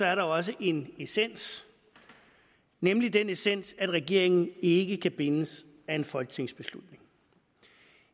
er der også en essens nemlig den essens at regeringen ikke kan bindes af en folketingsbeslutning